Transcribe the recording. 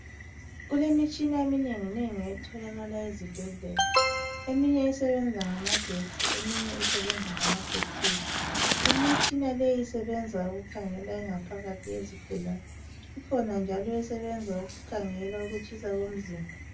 Kulemitshina eminenginengi etholakala ezibhedlela eminye esebenza ngamagetsi eminye isebenza ngamabhethiri Imitshina leyi isebenza ukukhangela ingaphakathi yezigulani. Ikhona njalo esebenza ukukhangela ukutshisa komzimba